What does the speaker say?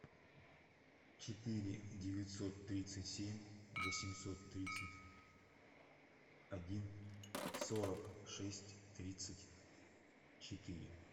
четыре девятьсот тридцать семь восемьсот тридцать один сорок шесть тридцать четыре